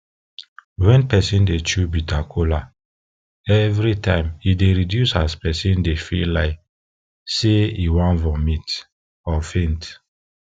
wen peson dey chew bitter kola every time e dey reduce as person dey feel like say e wan vomit or or faint